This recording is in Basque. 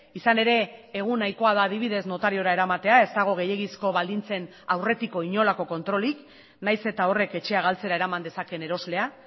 izan ere egun nahikoa da adibidez notariora eramatea ez dago gehiegizko baldintzen aurretiko inolako kontrolik nahiz eta horrek etxea galtzera eraman dezakeen eroslea